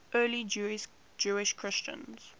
early jewish christians